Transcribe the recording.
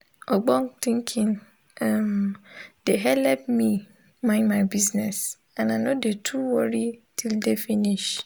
ogbonge tinkin um de helep me mind my bizness and i nor dey too worri till day finis